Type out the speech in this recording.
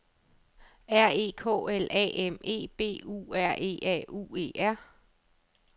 R E K L A M E B U R E A U E R